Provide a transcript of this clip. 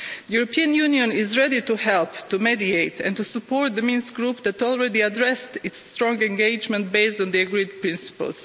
The European Union is ready to help, to mediate and to support the Minsk Group that already addressed its strong engagement based on the agreed principles.